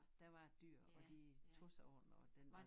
Der var en dyr og de de tog sig af den og den var